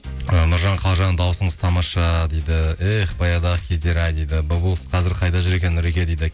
ы нұржан қалжан дауысыңыз тамаша дейді эх баяғыдағы кездер ай дейді бұлбұл құс қазір қайда жүр екен нұреке дейді